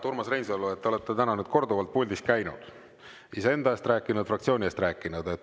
Urmas Reinsalu, te olete täna korduvalt puldis käinud, iseenda eest rääkinud, fraktsiooni eest rääkinud.